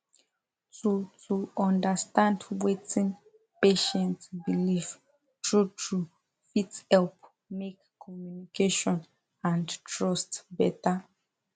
to to understand wetin patient believe truetrue fit help make communication and trust better